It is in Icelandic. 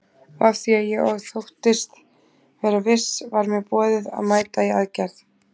Og af því ég þóttist vera viss var mér boðið að mæta í aðgerð.